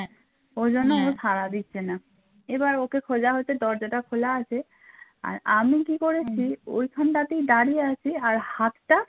এবার ওকে খোঁজা হচ্ছে, দরজাটা খোলা আছে আর আমি কি করেছি ওইখানটাতে দাঁড়িয়ে আছি আর হাতটা